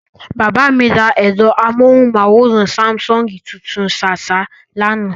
Bàbá mi ra ẹ̀rọ amóhùnmáwòrán Sáḿsọ̀ngì tuntun ṣáṣá lánàá.